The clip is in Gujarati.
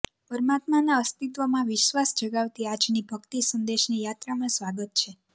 પરમાત્માના અસ્તિત્વમાં વિશ્વાસ જગાવતી આજની ભક્તિ સંદેશની યાત્રામાં સ્વાગત છે